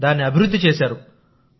దాన్ని అభివృద్ధి చేశారు